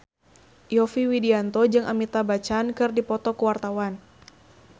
Yovie Widianto jeung Amitabh Bachchan keur dipoto ku wartawan